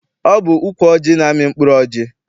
Ọ bụ ukwu ọjị na-amị mkpụrụ ọjị.